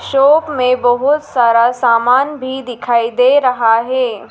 Shop में बहोत सारा सामान भी दिखाई दे रहा है।